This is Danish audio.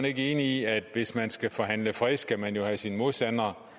ikke enig i at hvis man skal forhandle en fred skal man jo have sin modstander